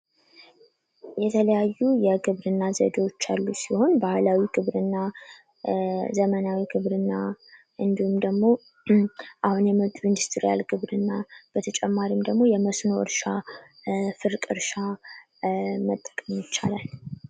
የተለያዩ የግብርና ዘዴዎች ያሉ ሲሆን ባህላዊ ግብርና፥ ዘመናዊ ግብርና፥ እንዲሁም አሁን የመጪው ኢንዱስትሪያል ግብርና በተጨማሪ ደግሞ የመስኖ እርሻ፥ ፍርቅ እርሻ መጠቀም ይቻላል።